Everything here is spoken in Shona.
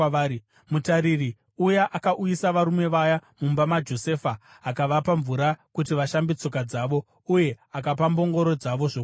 Mutariri uya akauyisa varume vaya mumba maJosefa, akavapa mvura kuti vashambe tsoka dzavo uye akapa mbongoro dzavo zvokudya.